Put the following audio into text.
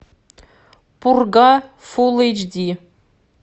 пурга фул эйч ди